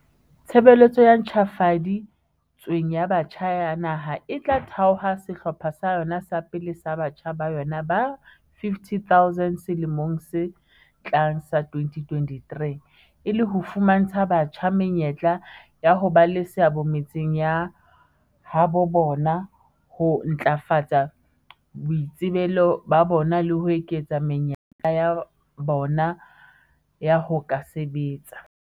"Tshebeletso e ntjhafadi tsweng ya Batjha ya Naha e tla thaotha sehlopha sa yona sa pele sa batjha ba yona ba 50 000 selemong se tlang sa 2023, e le ho fumantsha batjha menyetla ya ho ba le seabo metseng ya habo bona, ho ntlafatsa boitsebelo ba bona le ho eketsa menyetla ya bona ya ho ka sebetsa."